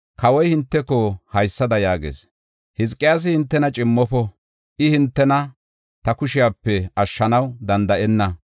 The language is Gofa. Kawoy hinteko haysada yaagees; ‘Hizqiyaasi hintena cimmofo’ I hintena ta kushepe ashshanaw danda7enna.